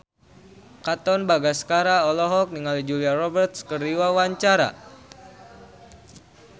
Katon Bagaskara olohok ningali Julia Robert keur diwawancara